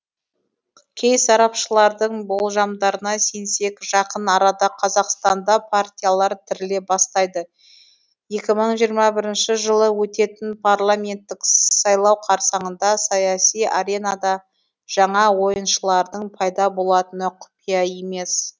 кей сарапшылардың болжамдарына сенсек жақын арада қазақстанда партиялар тіріле бастайды екі мың жиырма бірінші жылы өтетін парламенттік сайлау қарсаңында саяси аренада жаңа ойыншылардың пайда болатыны құпия емес